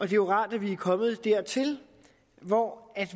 jo rart at vi er kommet dertil hvor